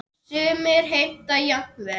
Sumir heimta jafnvel